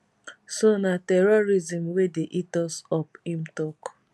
so na terrorism wey dey eat us up im tok